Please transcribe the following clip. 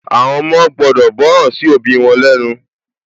Àwọn ọmọ gbudọ̀ gbọ́ràn sí òbí wọn lẹ́ nu